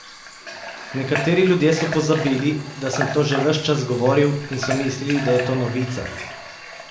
Nekateri ljudje so pozabili, da sem to že ves čas govoril, in so mislili, da je to novica!